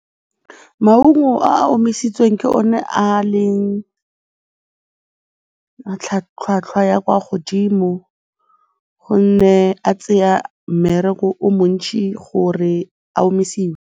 Maungo a a omisitsweng ke one a leng tlhwatlhwa ya kwa godimo gonne a tsaya mmereko o montšhi gore a omisiwe.